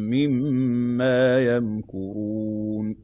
مِّمَّا يَمْكُرُونَ